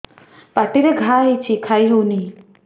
ପାଟିରେ ଘା ହେଇଛି ଖାଇ ହଉନି